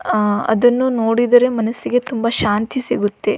ಅ ಅದನ್ನು ನೋಡಿದರೆ ಮನಸ್ಸಿಗೆ ತುಂಬಾ ಶಾಂತಿ ಸಿಗುತ್ತದೆ.